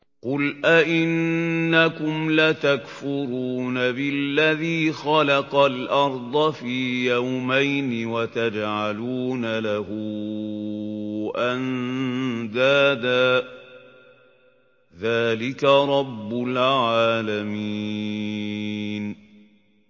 ۞ قُلْ أَئِنَّكُمْ لَتَكْفُرُونَ بِالَّذِي خَلَقَ الْأَرْضَ فِي يَوْمَيْنِ وَتَجْعَلُونَ لَهُ أَندَادًا ۚ ذَٰلِكَ رَبُّ الْعَالَمِينَ